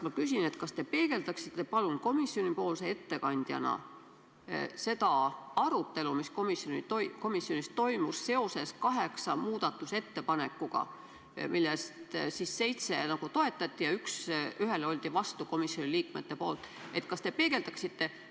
Ma küsin järgmist: kas te palun peegeldaksite komisjonipoolse ettekandjana seda arutelu, mis komisjonis toimus kaheksa muudatusettepaneku üle, millest seitset toetati ja ühele olid komisjoni liikmed vastu?